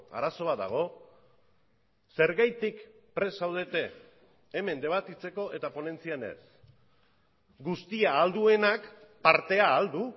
arazo bat dago zergatik prest zaudete hemen debatitzeko eta ponentzian ez guztia ahal duenak partea ahal du